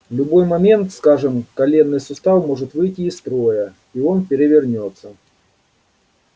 в любой момент скажем коленный сустав может выйти из строя и он перевернётся